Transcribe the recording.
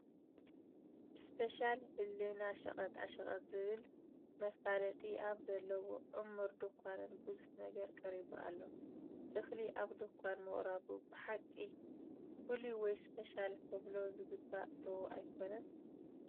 እስፔሻል እህልና ሸቐጣ ሸቀጥ ዝብል መፋለጢ ኣብ ዘለዎ ዕሙር ዳንዃን ብዙሕ ነገር ቀሪቡ ኣሎ፡፡ እኽሊ ኣብ ድንዃን ምቕራቡ ብሓቂ ፍሉይ ወይ ስፔሻል ከብሎ ዝግባእ ዶ ኣይኮነን?